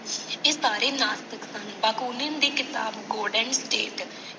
ਇਹ ਸਾਰੇ ਨਾਸਤਿਕ ਸਨ। ਬਾਕੂਨਿਨ ਦੀ ਕਿਤਾਬ ਗੋਰਡਨ ਗਰੇਥ।